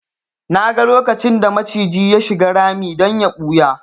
Naga lokacin da maciji ya shiga rami don ya ɓuya